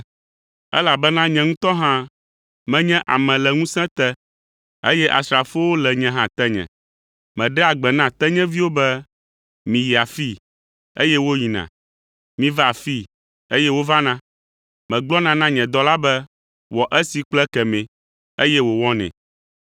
Elabena nye ŋutɔ hã menye ame le ŋusẽ te, eye asrafowo le nye hã tenye. Meɖea gbe na tenyeviwo be, ‘Miyi afii,’ eye woyina, ‘Miva afii,’ eye wovana, megblɔna na nye dɔla be, ‘Wɔ esi kple ekemɛ,’ eye wòwɔnɛ.”